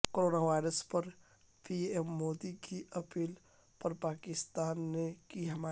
corona virus پر PM Modi مودی کی اپیل پر پاکستان نے کی حمایت